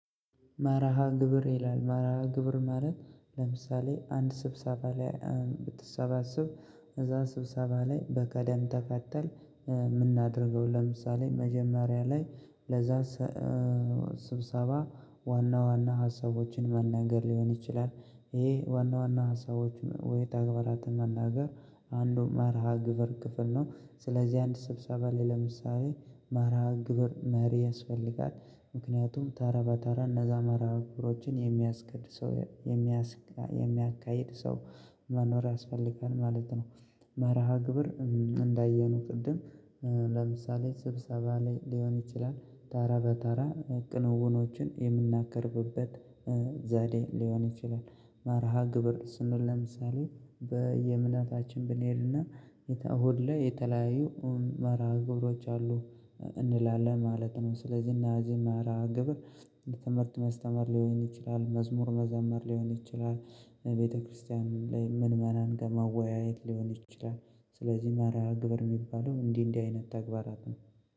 መርሃ ግብር ይላል መርሃ ግብር ማለት ለምሳሌ አንድ ስብሰባ ላይ ብትሰበሰብ እዛ ስብሰባ ላይ በቅደም ተከተል የምናደርገው ለምሳሌ መጀመሪያ ላይ ለዛ ስብሰባ ዋና ዋና ሀሳቦችን መናገር ሊሆን ይችላል ይሄ ዋና ዋና ሀሳቦች ወይም ተግባራትን መናገር አንዱ መርሃ ግብር ክፍል ነው ስለዚህ አንድ ስብሰባ ላይ ለምሳሌ መርሃ ግብር መሪ ያስፈልጋል ምክንያቱም ተራ በተራ እነዛ መርሃ ግብሮችን የሚያስኬድ ሰው የሚያካሂድ ሰው መኖር ያስፈልጋል ማለት ነው። መርሃ ግብር እንዳየነው ቅድም ለምሳሌ ስብሰባ ላይ ሊሆን ይችላል ተራ በተራ ክንውኖችን የምናቀርብበት ዘዴ ሊሆን ይችላል። መርሃ ግብር ስንል ለምሳሌ በየእምነታችን ብንሄድና እሁድ ላይ የተለያዩ መርሃ ግብሮች አሉ እንላለን ማለት ነው። ስለዚህ እነዚህ መርሃ ግብር ትምህርት ማስተማር ሊሆን ይችላል መዝሙር መዘመር ሊሆን ይችላል ቤተክርስቲያን ላይ ምእመናን ጋር መወያየት ሊሆን ይችላል። ስለዚህ መርሃ ግብር የሚባለው እንዲህ እንዲህ አይነት ተግባራት ነው።